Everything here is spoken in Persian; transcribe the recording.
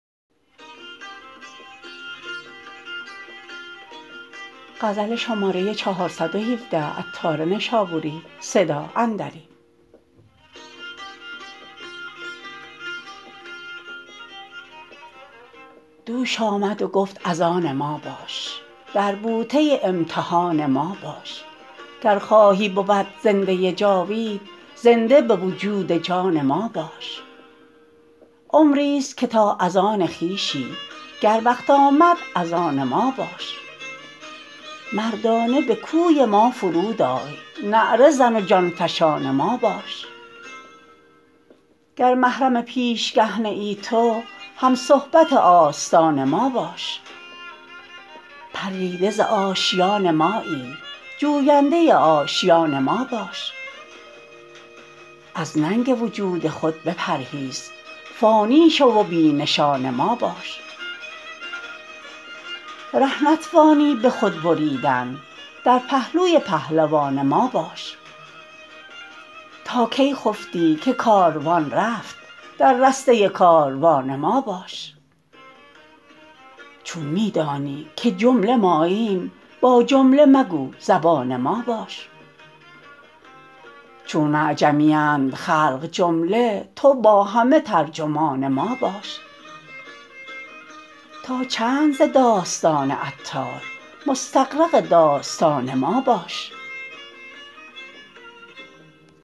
دوش آمد و گفت از آن ما باش در بوته امتحان ما باش گر خواهی بود زنده جاوید زنده به وجود جان ما باش عمری است که تا از آن خویشی گر وقت آمد از آن ما باش مردانه به کوی ما فرود آی نعره زن و جان فشان ما باش گر محرم پیشگه نه ای تو هم صحبت آستان ما باش پریده زآشیان مایی جوینده آشیان ما باش از ننگ وجود خود بپرهیز فانی شو و بی نشان ما باش ره نتوانی به خود بریدن در پهلوی پهلوان ما باش تا کی خفتی که کاروان رفت در رسته کاروان ما باش چون می دانی که جمله ماییم با جمله مگو زبان ما باش چون اعجمیند خلق جمله تو با همه ترجمان ما باش تا چند ز داستان عطار مستغرق داستان ما باش